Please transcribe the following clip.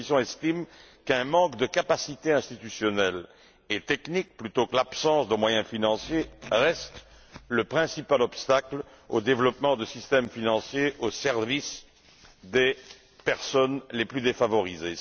La Commission estime qu'un manque de capacité institutionnelle et technique plutôt que l'absence de moyens financiers reste le principal obstacle au développement de systèmes financiers au service des personnes les plus défavorisées.